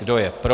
Kdo je pro?